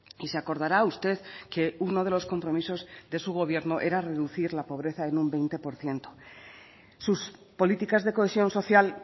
y se acordará usted que uno de los compromisos de su gobierno era reducir la pobreza en un veinte por ciento sus políticas de cohesión social